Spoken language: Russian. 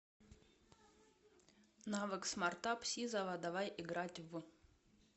навык смартап сизова давай играть в